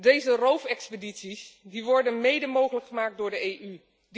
Deze roofexpedities worden mede mogelijk gemaakt door de EU.